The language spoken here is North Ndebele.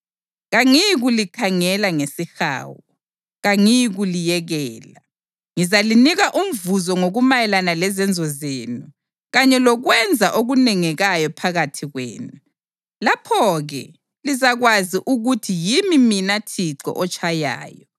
Kangiyikulikhangela ngesihawu, kangiyikuliyekela, ngizalinika umvuzo ngokumayelana lezenzo zenu kanye lokwenza okunengekayo phakathi kwenu. Lapho-ke lizakwazi ukuthi yimi mina Thixo otshayayo.